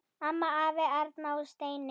Amma, afi, Erna og Steini.